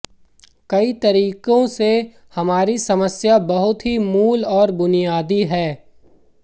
कई तरीके से हमारी समस्या बहुत ही मूल और बुनियादी है